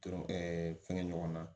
Dɔrɔ fɛngɛ ɲɔgɔn na